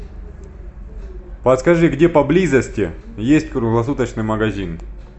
подскажи где поблизости есть круглосуточный магазин